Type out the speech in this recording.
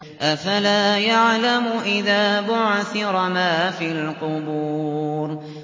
۞ أَفَلَا يَعْلَمُ إِذَا بُعْثِرَ مَا فِي الْقُبُورِ